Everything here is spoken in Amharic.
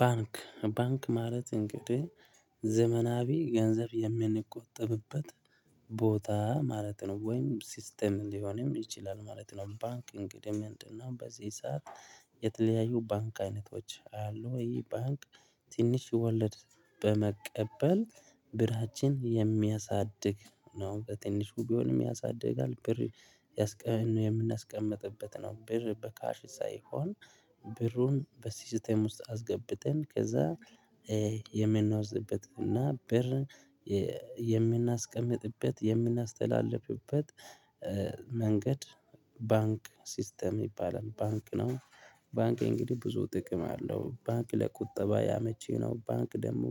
ባንክ፣ ባንክ ማለት እንግዲህ ዘመናዊ ገንዘብ የምንቆጥብበት ቦታ ማለት ነው። ወይም ሲስተም ሊሆንም ይችላል ማለት ነው። ባንክ እንግዲህ ምንድነው በዚህ ሰዓት የተለያዩ ባንክ አይነቶች አሉ። ወይ ባንክ ትንሽ ወለድ በመቀበል ብራችን የሚያሳድግ ነው በትንሹ ቢሆንም ያሳድጋል። ብር ያስቀ የምናስቀምጥበት ነው ብር በካሽ ሳይሆን ብሩን በሲስተም ውስጥ አስገብተን ከዛ የምንወስድበትና ብር የምናስቀምጥበት የምናስተላልፍበት መንገድ ባንክ ሲስተም ይባላል ባንክ ነው። ባንክ እንግዲህ ብዙ ጥቅም አለው። ባንክ ለቁጠባ አመቹ ነው። ባንክ ደግሞ